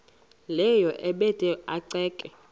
leyo ebanda ceke